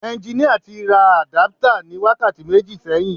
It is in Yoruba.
Ẹnginíà tí ra àdáptà ní wákàtí méjì sẹ́yìn